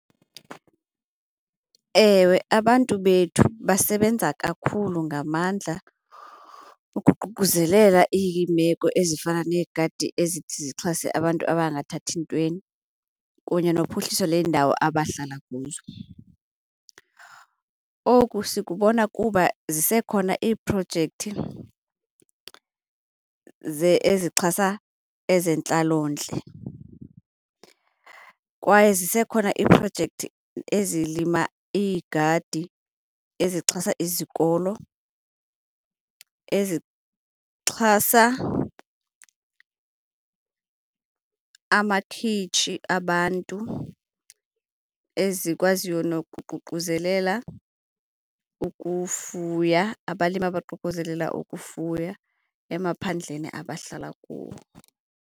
Ewe, abantu bethu basebenza kakhulu ngamandla ukuququzelela iimeko ezifana neegadi ezithi zixhase abantu abangathathi ntweni kunye nophuhliso leendawo abahlala kuzo. Oku sikubona kuba zisekhona iiprojekthi ezixhasa ezentlalontle kwaye zisekhona iiprojekthi ezilima iigadi ezixhasa izikolo, ezixhasa amakhitshi abantu, ezikwaziyo nokuququzelela ukufuya, abalimi abaququzelela ukufuya emaphandleni abahlala kuwo.